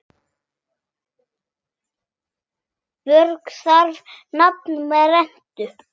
Björg bar nafn með rentu.